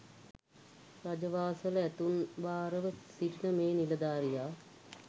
රජ වාසල ඇතුන් භාර ව සිටින මේ නිලධාරියා